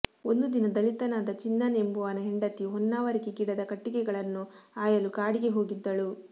ಒಂದು ದಿನ ದಲಿತನಾದ ಚಿನ್ನನ್ ಎಂಬುವನ ಹೆಂಡತಿ ಹೊನ್ನಾವರಿಕೆ ಗಿಡದ ಕಟ್ಟಿಗೆಗಳನ್ನು ಆಯಲು ಕಾಡಿಗೆ ಹೋಗಿದ್ದಳು